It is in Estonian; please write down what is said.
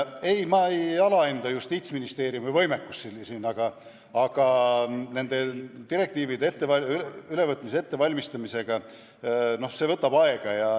Ei, ma ei alahinda siin Justiitsministeeriumi võimekust, aga direktiivide ülevõtmise ettevalmistamine võtab aega.